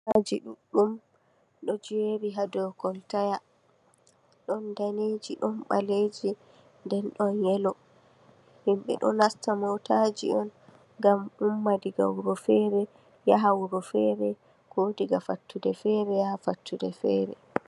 Aji ɗuɗɗum ɗo jeri haa do koltaya. Don daneji, ɗon ɓaleji, nden ɗon yeloji. Himɓɓe ɗo nasta motaji on ngam ƴumma daga wuro fere yaha wuro fere, ko daga fattude fere yahaa fattude fere.